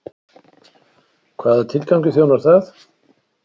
Hvaða tilgangi þjónar það?